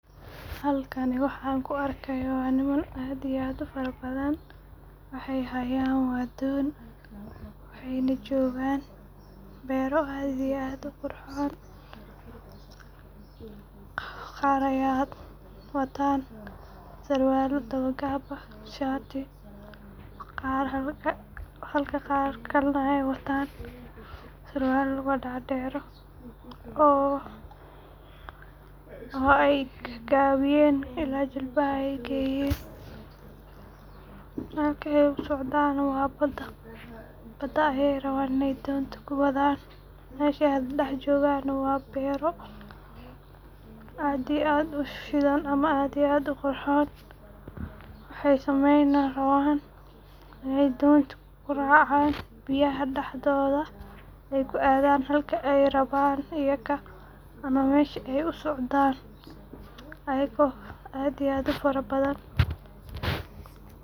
Halkani waxan kuu arkayo waa niman, aad iyo aad ufarabadhan waxay hayan waa don waxay nah jogaan bero aad iyo aad uqurxon, qar aya watan sarwalo dawo qab, shati halka qarka kale ay watan sawarwal luga derdero oo ay gagabiyen oo ay geyen ila jilbaha aay geyen, halka ay usocdan nah waa baada, baada ayay raban inay donta kuwadan, meshaa ay jogan nah waa bero aad iyo aad usidan ama aad iyo uqurxon waxay sameyni raban inay dontu kuracan biyaha daxdodha aay kuadan, halka aay raban iyaka ama meshay usocdan ayako aad iyo aad ufarabadhan.